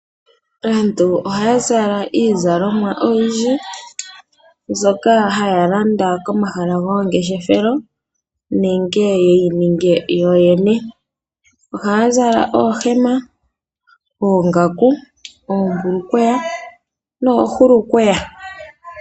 Aantu ohaya zala iizalomwa oyindji , mbyoka haya landa komahala gomangeshefelo nenge yeyi ninge yoyene. Ohaya zala oohema, oongaku, oombulukweya noohulukweya.